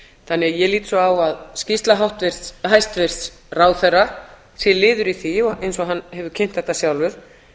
þannig að ég lít svo á að skýrsla hæstvirts ráðherra sé liður í því og eins og hann hefur kynnt þetta sjálfur